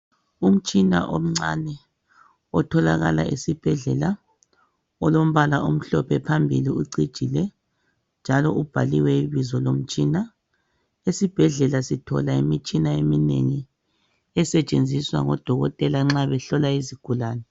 Umtshina omncane otholakala esibhedlela olombala omhlophe phambili ucijile njalo ubhaliwe ibizo lawo. Esibhedlela sithola imitshina eminengi esetshenziswa ngoDokotela nxa behlola izigulane.